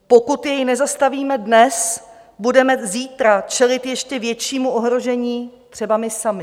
Pokud jej nezastavíme dnes, budeme zítra čelit ještě většímu ohrožení třeba my sami.